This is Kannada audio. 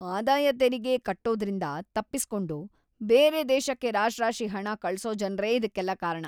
ಆದಾಯ ತೆರಿಗೆ ಕಟ್ಟೋದ್ರಿಂದ ತಪ್ಪಿಸ್ಕೊಂಡು ಬೇರೆ ದೇಶಕ್ಕೆ ರಾಶ್ರಾಶಿ ಹಣ ಕಳ್ಸೋ ಜನ್ರೇ ಇದಕ್ಕೆಲ್ಲ ಕಾರಣ.